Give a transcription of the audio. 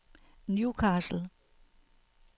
Newcastle